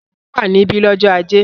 Ṣadé wà níbí lọ́jọ́ ajé?